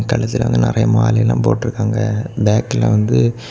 கடைசில அந்த நெறைய மாலையெல்லா போட்டுருக்காங்க பேக்ல வந்து.